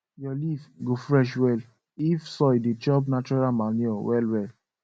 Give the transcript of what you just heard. your leaf go fresh well if soil dey chop natural manure well well